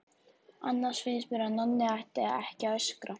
Annars finnst mér að Nonni ætti ekki að öskra.